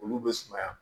Olu bɛ sumaya